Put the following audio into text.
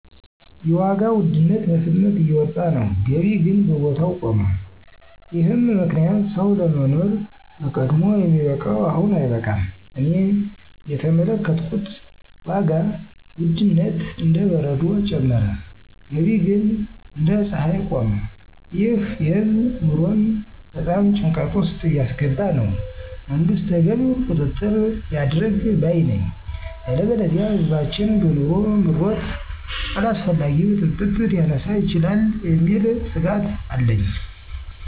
የዋጋ ውድነት በፍጥነት እየወጣ ነው፣ ገቢ ግን በቦታው ቆመ፤ ይህም ምክንያት ሰው ለማኖር በቀድሞ የሚበቃው አሁን አይበቃም። እኔ እየተመለከትኩት ዋጋ ውድነት እንደ በረዶ ጨመረ፣ ገቢ ግን እንደ ፀሐይ ቆመ። ይህ የህዝብ ኑሮን በጣም ጭንቀት ውስጥ እያስገባ ነው። መንግስት ተገቢውን ቁጥጥር ያድርግ ባይ ነኝ። ያለበለዚያ ህዝባችን በኑሮ ምሮት አላስፈላጊ ብጥብጥ ሊያስነሳ ይችላል የሚል ስጋት አለኝ።